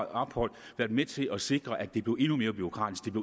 ophold været med til at sikre at det blev endnu mere bureaukratisk